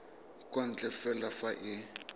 kwa ntle fela fa e